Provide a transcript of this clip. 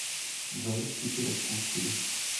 джой стикеры куси